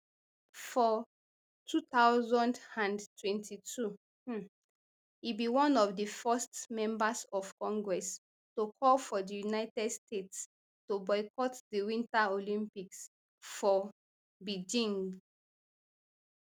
for two thousand and twenty-two um e be one of di first members of congress to call for di united states to boycott di winter olympics for beijing